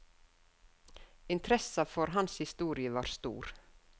Interessa for hans historie var stor.